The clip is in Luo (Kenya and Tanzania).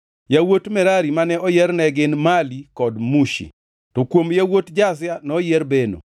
Yawuot Merari mane oyier ne gin: Mali kod Mushi. To kuom yawuot Jazia noyier Beno.